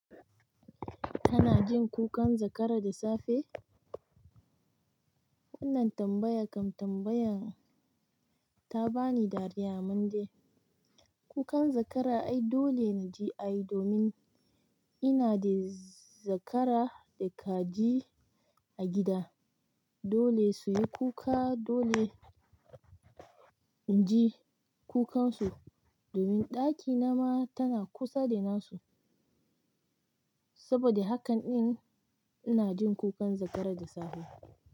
Kana jin kukan zakara da safe? Wannan tambaya kan tambayan ta ba ni dariya anman de. Kukan zakara ai dole naji ai domin ina da zakara da kaji a gida. Dole su yi kuka dole inji kukansu domin ɗakina ma tana kusa da nasu. Saboda haka ɗin ina jin kukan zakara da safe.